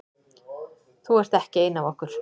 Þú ert ekki ein af okkur.